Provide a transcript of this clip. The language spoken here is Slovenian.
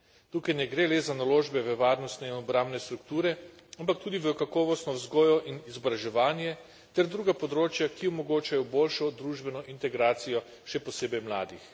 Tukaj ne gre le za naložbe v varnostne in obrambne strukture, ampak tudi v kakovostno vzgojo in izobraževanje, ter druga področja, ki omogočajo boljšo družbeno integracijo, še posebej mladih.